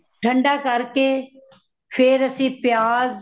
ਠੰਡਾ ਕਰਕੇ ਫੇਰ ਅਸੀ ਪਿਆਜ਼